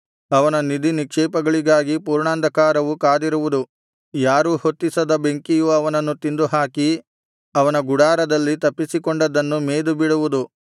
ಅವನ ನಿಧಿನಿಕ್ಷೇಪಗಳಿಗಾಗಿ ಪೂರ್ಣಾಂಧಕಾರವು ಕಾದಿರುವುದು ಯಾರೂ ಹೊತ್ತಿಸದ ಬೆಂಕಿಯು ಅವನನ್ನು ತಿಂದುಹಾಕಿ ಅವನ ಗುಡಾರದಲ್ಲಿ ತಪ್ಪಿಸಿಕೊಂಡದ್ದನ್ನು ಮೇದು ಬಿಡುವುದು